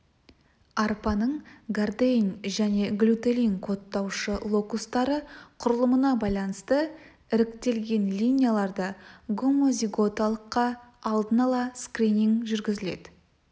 арпаның гордейн және глютелин кодтаушы локустары құрылымына байланысты іріктелген линияларды гомозиготалыққа алдын-ала скрининг жүргізіледі